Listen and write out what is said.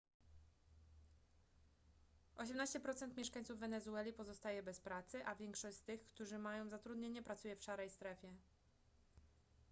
18% mieszkańców wenezueli pozostaje bez pracy a większość z tych którzy mają zatrudnienie pracuje w szarej strefie